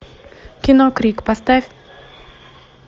кино крик поставь